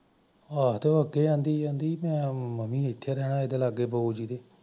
ਹਾਂ ਆਖੀ ਜਾਂਦੀ ਕਿ ਮੈਂ ਮੰਮੀ ਦੇ ਲਾਗੇ ਰਹਿਣਾ ਬਊ ਜੀ ਦੇ